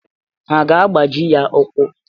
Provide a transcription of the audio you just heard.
Ha aga-agbaji ya ụ́kwụ́?